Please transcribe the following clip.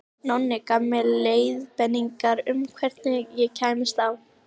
Nonni gaf mér leiðbeiningar um hvernig ég kæmist á